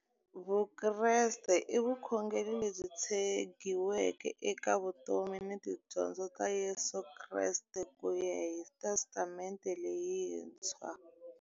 Vukreste i vukhongeri lebyi tshegiweke eka vutomi na tidyondzo ta Yesu Kreste kuya hi Testamente leyintshwa.